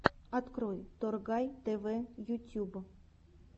открой торгай тв ютюб